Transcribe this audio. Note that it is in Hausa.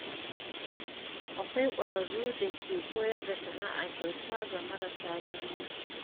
Akwai ƙwararru da ke koyar da sana’a kyauta ga marasa galihu.